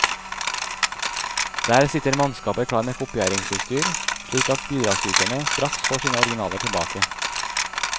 Der sitter mannskaper klar med kopieringsutstyr, slik at bidragsyterne straks får sine originaler tilbake.